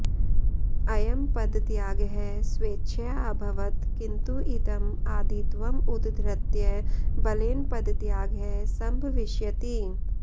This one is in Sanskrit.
अयं पदत्यागः स्वेच्छया अभवत् किन्तु इदम् आदित्वम् उद्धृत्य बलेन पदत्यागः संभविष्यति